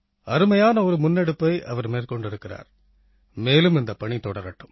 அருமையான ஒரு முன்னெடுப்பை அவர் மேற்கொண்டிருக்கிறார் மேலும் இந்தப் பணி தொடரட்டும்